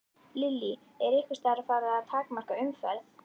Lillý: Er einhvers staðar farið að takmarka umferð?